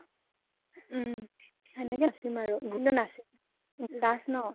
হেনেকে নাচিম আৰু কিন্তু নাচিম। last ন।